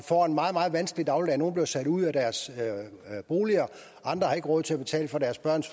får en meget meget vanskelig dagligdag nogle bliver sat ud af deres boliger andre har ikke råd til at betale for deres børns